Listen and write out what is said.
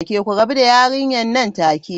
Ku rabu da yarinyar nan take!